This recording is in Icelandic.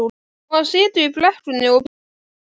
Og hann situr í brekkunni og bíður.